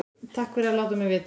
Takk fyrir að láta mig vita